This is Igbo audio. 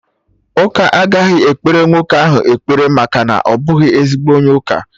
Ụka agaghị ekpere nwoke ahụ ekpere maka na ọ bụghị ezigbo onye ụka